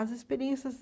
As experiências